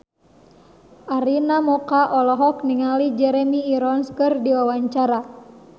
Arina Mocca olohok ningali Jeremy Irons keur diwawancara